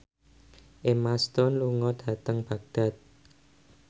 Emma Stone lunga dhateng Baghdad